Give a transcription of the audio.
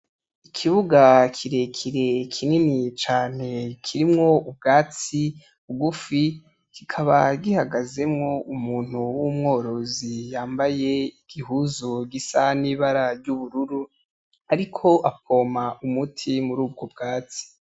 Ikibuga kirekire kinini cane kirimo ubwatsi bugufi kikaba gihagazemo umuntu w'umworozi yambaye igihuzu gisa nibara ry'ubururu ariko apompa umuti murubwo bwatsi.